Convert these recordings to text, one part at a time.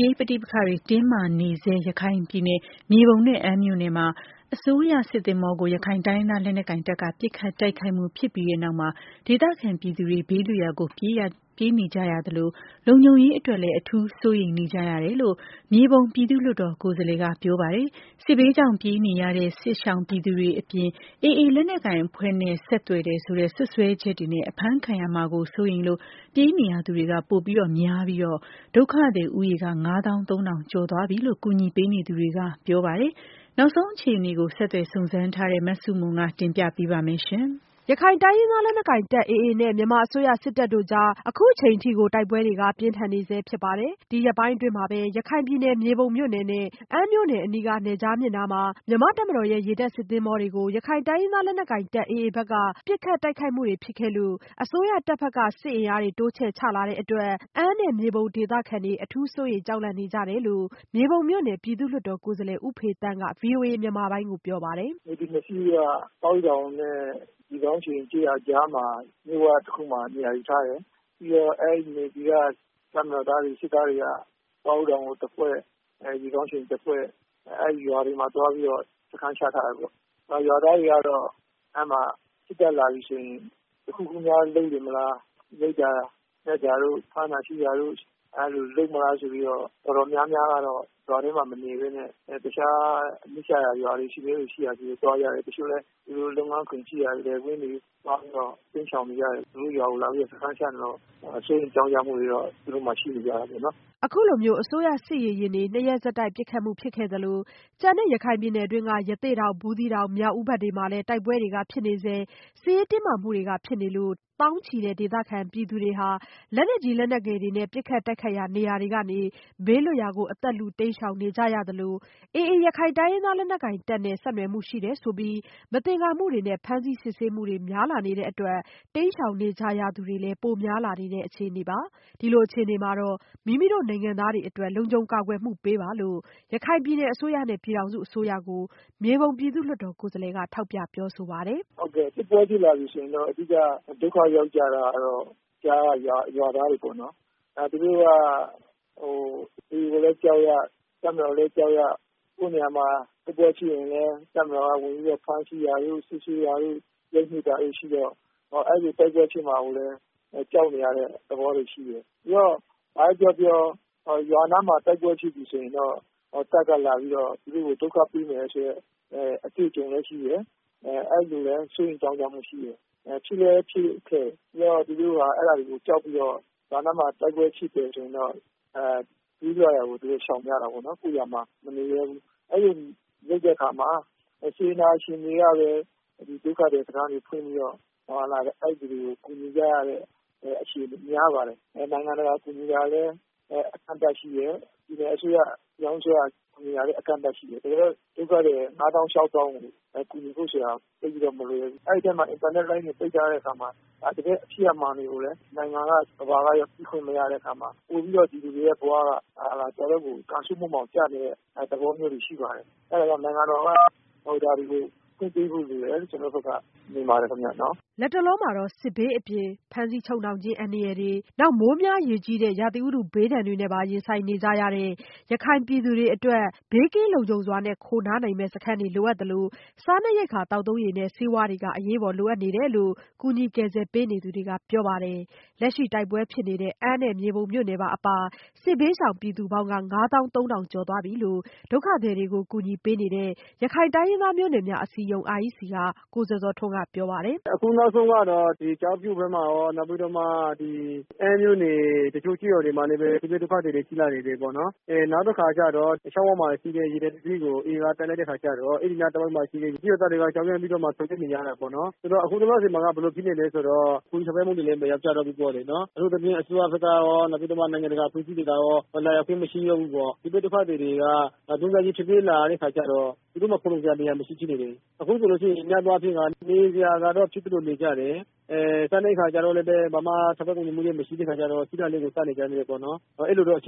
ရေးပဋိပက္ခတွေတင်းမာနေဆဲ ရခိုင်ပြည်နယ်ထဲ မြေပုံနဲ့ အမ်းမြို့နယ်မှာ အစိုးရစစ်သင်္ဘောကို ရခိုင်တိုင်းရင်းသား လက်နက်ကိုင်တပ်က ပစ်ခတ်တိုက်ခိုက်မှုဖြစ်ပြီးတဲ့နောက် ဒေသခံပြည်သူတွေ ဘေးလွတ်ရာကိုပြေးနေကြသလို လုံခြုံရေးအတွက်လည်း အထူး စိုးရိမ်နေကြတယ်လို့ မြေပုံပြည်သူ့လွှတ်တော် ကိုယ်စားလှယ်ကပြောပါတယ်။ စစ်ဘေးကြောင့်ပြေးနေရတဲ့ စစ်ရှောင်ပြည်သူတွေအပြင် AAတပ်နဲ့ဆက်သွယ်တယ်ဆိုတဲ့ စွပ်စွဲချက်တွေနဲ့ အဖမ်းခံရမှာကို စိုးရိမ်လို့ ပြေးနေရသူတွေက ပိုများလာပြီး ဒုက္ခသည်ဦးရေက ငါးသောင်းသုံးထောင်ကျော်သွားပြီလို့ ကူညီပေးနေသူတွေကပြောပါတယ်။ နောက်ဆုံးအခြေအနေ ဆက်သွယ်စုံစမ်းထားတဲ့ မဆုမွန် တင်ပြပေးထားပါတယ်။ ရခိုင်တိုင်းရင်းသားလက်နက်ကိုင်တပ် AA နဲ့ မြန်မာအစိုးရစစ်တပ်တို့ကြား စစ်ရေးပဋိပက္ခတွေဖြစ်လာတာ လနဲ့ချီလာနေပေမဲ့လို့ အခုချိန်အထိကို တိုက်ပွဲတွေကပြင်းထန်နေဆဲဖြစ်ပါတယ်။ ဒီရက်ပိုင်းအတွင်းမှာပဲ ရခိုင်ပြည်နယ် မြေပုံမြို့နယ်နဲ့ အမ်းမြို့နယ်အနီး နယ်ခြားမြစ်အနီးက မြန်မာ့တပ်မတော် ရေတပ်စစ်သင်္ဘောတွေကို ရခိုင်တိုင်းရင်းသားလက်နက်ကိုင်တပ်ဘက်က ပစ်ခတ် တိုက်ခိုက်မှုတွေဖြစ်ခဲ့တဲ့အတွက် အစိုးရတပ်က စစ်အင်အားတွေ တိုးချဲ့ချထားလို့ အမ်းနဲ့မြေပုံ ဒေသခံတွေ အထူး စိုးရိမ်ကြောက်လန့်နေကြတယ်လို့ မြေပုံမြို့နယ် ပြည်သူ့လွှတ်တော်ကိုယ်စားလှယ် ဦးဖေသန်းက ဗွီအိုအေမြန်မာပိုင်းကိုပြောပါတယ်။ " Navy နှစ်စီးက ပေါင်းချောင်နဲ့ ရေခေါင်းချိန် ကျေးရွာကြားက မြစ်ဝတခုမှာ နေရာယူထားတယ်။ပြီးတော့ အဲဒီ Navy က တပ်မတော်သားတွေ စစ်သားတွေက ပေါင်းချောင် ကိုတဖွဲ့ နဲ့ ရေခေါင်းချိန် ကိုတဖွဲ့ အဲဒီရွာတွေမှာ သွားပြီးတော့ စခန်းချထားတယ်ပေါ့။ ရွာသားတွေကတော့ အဲဒီမှာ စစ်တပ်လာပြီဆိုရင် တခုခုများလုပ်မလား ရိုက်တာနက်တာတို့ ဖမ်းတာဆီးတာတို့၊ အဲလိုလုပ်မလားဆိုပြီးတော့ တော်တော်များများကတော့ ရွာထဲမှာ မနေပဲနဲ့ တခြားနီးစပ်ရာ ရွာတွေကိုသွားကြတယ်။ တချို့လည်း သူတို့ လုပ်ငန်းခွင်ရှိရာ လယ်ကွင်းတွေကို တိမ်းရှောင်နေတယ်။ သူတို့ရွာကို လာပြီးတော့ စခန်းချတော့ စိုးရိမ်မှုတွေကတော့ ရှိနေတာပေါ့နော်။” အခုလိုမျိုး အစိုးရ စစ်ရေယာဉ်တွေကို နှစ်ရက်ဆက်တိုက်ပစ်ခတ်ခံရမှုဖြစ်နေသလို ကျန်တဲ့ ရခိုင်ပြည်နယ်တွင်း ရသေ့တောင်၊ ဘူးသီးတောင်၊ မြောက်ဦး ဘက်တွေမှာလည်း တိုက်ပွဲတွေဖြစ်နေဆဲ-စစ်ရေးတင်းမာမှုတွေဖြစ်နေလို့ သောင်းချီတဲ့ဒေသခံ ပြည်သူတွေဟာ လက်နက်ကြီး လက်နက်ငယ်တွေနဲ့ ပစ်ခတ်တိုက်ခိုက်ရာနေရာတွေကနေ ဘေးလွတ်ရာတွေကို အသက်လု တိမ်းရှောင်နေကြရပါတယ်။ ဒါ့အပြင် AA ရခိုင်တိုင်းရင်းသားလက်နက်ကိုင်တပ်နဲ့ ဆက်နွယ်မှုရှိတယ်ဆိုပြီး မသင်္ကာမှုတွေနဲ့ဖမ်းဆီးစစ်ဆေးမှုတွေ များလာနေတဲ့အတွက် တိမ်းရှောင်နေကြရသူတွေလည်း ပိုများလာတဲ့အခြေအနေပါ။ ဒီလိုအခြေအနေမှာ မိမိတို့ နိုင်ငံသားတွေအတွက် လုံခြုံကာကွယ်မှု ပေးပါလို့လည်း ရခိုင်ပြည်နယ် အစိုးရနဲ့ ပြည်ထောင်စုအစိုးရကို မြေပုံ ပြည်သူ့လွှတ်တော်ကိုယ်စားလှယ်က ထောက်ပြပြောဆိုပါတယ်။ “ဟုတ်ကဲ့ စစ်ပွဲဖြစ်လာပြီဆိုရင်တော့ အဓိက ဒုက္ခရောက်ကြတာကတော့ ကြားက ရွာသားတွေပေါ့နော်။ သူတို့က AA ကိုလည်း ကြောက်ရ တပ်မတော်ကိုလည်း ကြောက်ရနဲ့ စစ်ပွဲရှိနေရင် တပ်မတော်က ဝင်ပြီးတော့ ဖမ်းဆီးတာမျိုး စစ်ဆေးတာတို့ လုပ်နေတာတွေရှိတော့ အဲလိုတိုက်ပွဲဖြစ်မှာကိုလည်း ကြောက်နေရတဲ့သဘောတွေရှိတယ်။ ဘာပဲပြောပြော ရွာနားမှာ တိုက်ပွဲဖြစ်ပြီဆိုရင်တော့ တပ်ကလာပြီးတော့ ဒုက္ခပေးတယ်ဆိုတဲ့ အတွေ့အကြုံလည်းရှိတယ်။ အဲလိုလည်း စိုးရိမ်မှုတွေရှိတယ် ဖြစ်လည်းဖြစ်ခဲ့တယ်။ ပြီးတော့ သူတို့က အဲဒါတွေကို ကြောက်ပြီးတော့ ရွာနားမှာ တိုက်ပွဲဖြစ်တယ်ဆိုရင်တော့ နီးစပ်ရာကို ရှောင်ကြတယ်။ ကိုယ့်ရွာမှာ မနေရဲဘူး။ အဲလိုလုပ်တဲ့အခါမှာ စေတနာရှင်တွေကလည်း ဒုက္ခသည်စခန်းတွေဖွင့်ပြီးတော့ အဲဒီလူတွေကို ကူညီကြရတဲ့ အခြေအနေမျိုးများပါတယ်။ နိုင်ငံတကာကူညီတာကလည်း အကန့်အသတ်ရှိတယ်။ ပြည်နယ်အစိုးရ၊ ပြည်ထောင်စုအစိုးရ ကူညီတာကလည်း အကန့်အသတ်ရှိတယ်။ ဒုက္ခသည် ၅ သောင်း ၊ ၆ သောင်းကို ကူညီဖို့ဆိုတာက သိပ်ပြီးတော့ မလွယ်ဘူး။ အဲဒီအထဲမှာ အင်တာနက်လိုင်းတွေ ပိတ်ထားတဲ့အခါမှာ တကယ့်ဖြစ်ရပ်မှန်ကိုလည်း နိုင်ငံကရော ကမ္ဘာကရော သိခွင့်မရတဲ့အတွက် ပိုပြီးတော့ ပြည်သူတွေဘဝက ကံဆိုးမိုးမှောင်ကျနေတဲ့ သဘောမျိုးရှိပါတယ်။ အဲဒါကြောင့် နိုင်ငံတော်က ဒါတွေကိုလုပ်ပေးဖို့လိုတယ် လို့ ကျနော်ဘက်က မြင်ပါတယ်ခင်ဗျ။” လတ်တလောမှာတော့ စစ်ဘေးအပြင် ဖမ်းဆီးချုပ်နှောင်ခြင်း အန္တရာယ်တွေအပြင် မိုးများရေကြီးတဲ့ ရာသီဥတုဘေးဒဏ်တွေနဲ့ပါ ရင်ဆိုင်နေကြရတဲ့ ရခိုင်ပြည်သူတွေအတွက် ဘေးကင်းလုံခြုံစွာနဲ့ခိုနားနိုင်မယ့် စခန်းတွေလိုအပ်သလို စားနပ်ရိက္ခာ သောက်သုံးရေနဲ့ ဆေးဝါးတွေ အရေးပေါ်လိုအပ်နေတယ်လို့လည်း ကူညီကယ်ဆယ်ပေးနေသူတွေကပြောပါတယ်။ လက်ရှိတိုက်ပွဲဖြစ်နေတဲ့ အမ်းနဲ့ မြေပုံမြို့နယ်တွေပါအပါ စစ်ဘေးရှောင်ပြည်သူပေါင်းက ငါးသောင်းသုံးထောင်ကျော်သွားပြီလို့ ဒုက္ခသည်တွေကို ကူညီပေးနေတဲ့ ရခိုင်တိုင်းရင်းသားမျိုးနွယ်စုများအစည်းအရုံး REC က ကိုဇော်ဇော်ထွန်းကပြောပါတယ်။ “ အခုနောက်ဆုံးကတော့ ကျောက်ဖြူဘက်မှာရော၊ အမ်းမြို့နယ် တချို့ကျေးရွာတွေမှာလည်း စစ်ဘေးဒုက္ခသည်တွေ ရှိလာတယ်။ နောက်တခါကျတော့ နယ်ခြားမြစ်အနီးက ရေတပ်စစ်သင်္ဘောတစီးကို AA က တိုက်လိုက်တဲ့ အခါကျတော့ အဲဒီမှာရှိတဲ့ ကျေးရွာသားတွေက ကြောက်ပြီးတော့ ထွက်ပြေးနေကြတယ်။ အခုလောလောဆည်မှာတော့ ဘယ်လို ဖြစ်နေသလဲဆိုတော့ အထူးသဖြင့် အစိုးရဘက်ကရော နိုင်ငံတကာအဖွဲ့အစည်းတွေကရော လာရောက်ခြင်းမရှိတော့ဘူး ။ စစ်ပြေးဒုက္ခသည်တွေက ထွက်ပြေးလာတဲ့အခါကျတော့ သူတို့မှာ ခိုလုံစရာနေရာမရှိဘူးဖြစ်နေတယ်။ အခုဆိုရင် များသောအားဖြင့်ကတော့ နေစရာကတော့ ဖြစ်သလိုနေကြတယ်။ စားနပ်ရိက္ခာကတော့ ဘာမှ ထောက်ပံ့ကူညီမှုမရှိတဲ့အခါကျတော့ ရှိတာလေးကို စားနေကြတယ် အဲလိုအခြေ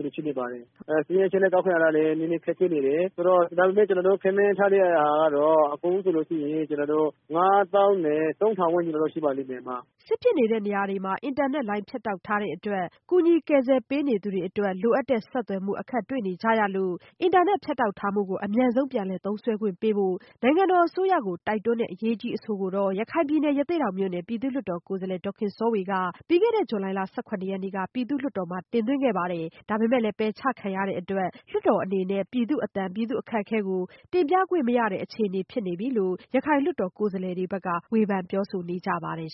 အနေဖြစ်နေပါတယ်။ စာရင်း အချက်အလက်ကောက်ခံတာကလည်း နည်းနည်းခက်ခဲနေတယ်။ ဒါပေမယ့် ကျနော်တို့ ခန့်မှန်းထားတာကတော့ အကုန်လုံးဆိုရင် ၅ သောင်းနဲ့ ၃ထောင်ဝန်းကျင်လောက်တော့ရှိပါမယ်။” စစ်ဖြစ်တဲ့နေရာတွေမှာ အင်တာနက်လိုင်းဖြတ်တောက်ထားတဲ့အတွက် ကူညီကယ်ဆယ်ပေးနေသူတွေအတွက် လိုအပ်တဲ့ဆက်သွယ်မှု ကူညီကယ်ဆယ်ပေးနေတာတွေအတွက် အခက်တွေ့နေကြရလို့ ရခိုင်နဲ့ချင်းပြည်နယ်က မြို့နယ် မြို့နယ်မှာ အင်တာနက်ဖြတ်တောက်ထားမှုကို အမြန်ဆုံးပြန်လည်သုံးစွဲခွင့်ပေးဖို့ နိုင်ငံတော်အစိုးရကို တိုက်တွန်းတဲ့အရေးကြီးအဆိုကို ရခိုင်ပြည်နယ် ရသေ့တောင်မြို့နယ် ပြည်သူ့လွှတ်တော်ကိုယ်စားလှယ် ဒေါ်ခင်စောဝက ပြီးခဲ့တဲ့ ဇူလိုင်လ ၁၇ရက်နေ့က ပြည်သူ့လွှတ်တော်မှာ တင်သွင်းခဲ့ပေမဲ့ ပယ်ချခံခဲ့ရလို့ လွှတ်တော်အနေနဲ့ ပြည်သူ့အသံကို တင်ပြခွင့်မရတဲ့အခြေအနေဖြစ်နေပြီလို့ ရခိုင်လွှတ်တော်ကိုယ်စားလှယ်တွေက ဝေဖန်ပြောဆိုနေကြပါတယ်